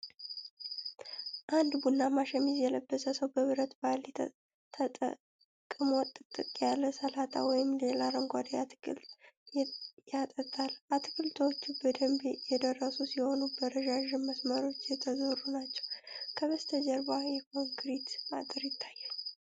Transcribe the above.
አንድ ቡናማ ሸሚዝ የለበሰ ሰው በብረት ባልዲ ተጠቅሞ ጥቅጥቅ ያለ ሰላጣ ወይም ሌላ አረንጓዴ አትክልት ያጠጣል። አትክልቶቹ በደንብ የደረሱ ሲሆኑ በረዣዥም መስመሮች የተዘሩ ናቸው። ከበስተጀርባ የኮንክሪት አጥር ይታያል።